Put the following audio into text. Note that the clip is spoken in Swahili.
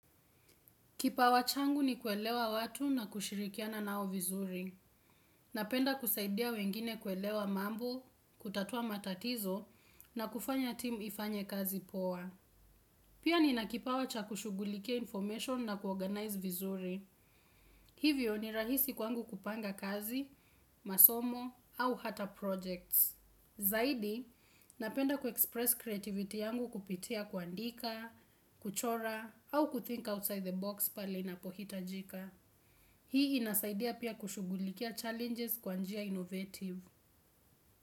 Kipawa changu ni kuelewa watu na kushirikiana nao vizuri. Napenda kusaidia wengine kuelewa mambo, kutatua matatizo, na kufanya timu ifanye kazi poa. Pia ninakipawa cha kushugulike information na kuorganize vizuri. Hivyo ni rahisi kwangu kupanga kazi, masomo, au hata projects. Zaidi, napenda kuexpress creativity yangu kupitia kuandika, kuchora, au kuthink outside the box pale inapohitajika. Hii inasaidia pia kushugulikia challenges kwa njia innovative.